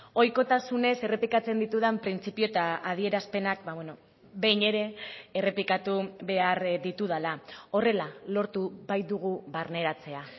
ohikotasunez errepikatzen ditudan printzipio eta adierazpenak behin ere errepikatu behar ditudala horrela lortu baitugu barneratzea